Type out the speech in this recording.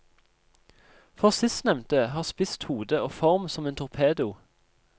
For sistnevnte har spisst hode og form som en torpedo.